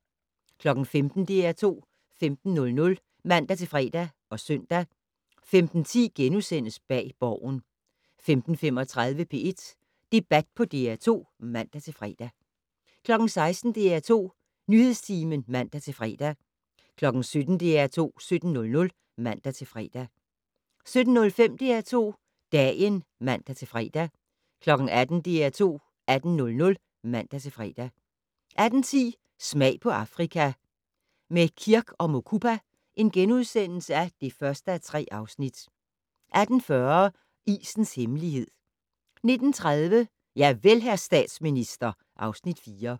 15:00: DR2 15:00 (man-fre og søn) 15:10: Bag Borgen * 15:35: P1 Debat på DR2 (man-fre) 16:00: DR2 Nyhedstimen (man-fre) 17:00: DR2 17:00 (man-fre) 17:05: DR2 Dagen (man-fre) 18:00: DR2 18:00 (man-fre) 18:10: Smag på Afrika - med Kirk & Mukupa (1:3)* 18:40: Isens hemmelighed 19:30: Javel, hr. statsminister (Afs. 4)